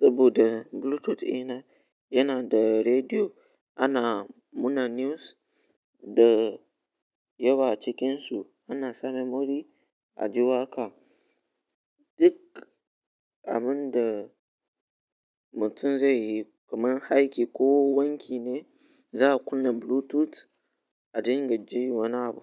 saboda Bluetooth ina yana da rediyo. Ana muna news da yawa cikinsu. Ana samar memory a ji waƙa. Duk abin da mutum zai yi, kamar haiki ko wanki ne, za a kunna Bluetooth a dinga ji wani abu.